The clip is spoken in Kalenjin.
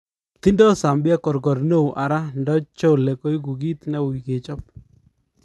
Tindo Zambia korkor neon ara ndachole koekuu kit newuy kechop